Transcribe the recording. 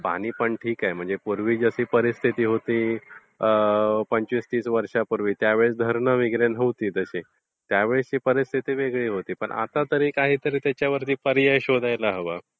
पाणी पण ठीक आहे म्हणजे पूर्वी जशी परिस्थिति होती पंचवीस तीस वर्षांपूर्वी त्यावेळी धरण वगैरे नव्हती त्यावेळेसची परिस्थिति वेगळी होती पण आतातरी त्याच्यावरती काही पर्याय शोधायला हवा.